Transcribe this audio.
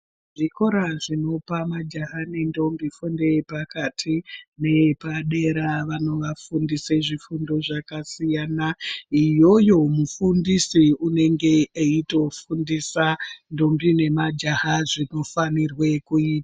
Zvikora zvinopa majaha nendombi fundo yepakati neyepadera vanovafundise zvifundo zvakasiyana iyoyo mufundisi unenge eitofundisa ndombi nemajaha zvinofanirwe kuitwa